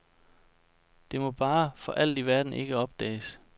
Det må bare for alt i verden ikke opdages.